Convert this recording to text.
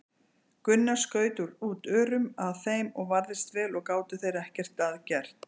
Gunnar skaut út örum að þeim og varðist vel og gátu þeir ekki að gert.